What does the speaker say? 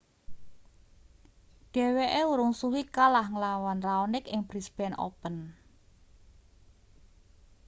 dheweke urung suwe kalah ngelawan raonic ing brisbane open